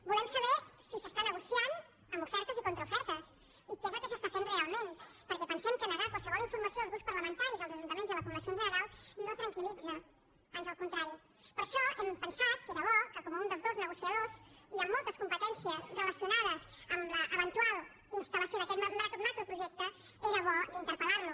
volem saber si s’està negociant amb ofertes i contraofertes i què és el que s’està fent realment perquè pensem que negar qualsevol informació als grups parlamentaris als ajuntaments i a la població en general no tranquilper això hem pensat que era bo com un dels dos negociadors i amb moltes competències relacionades amb l’eventual instal·lació d’aquest macroprojecte era bo d’interpel·lar lo